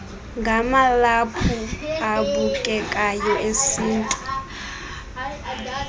ngamalaphu abukekayo esintu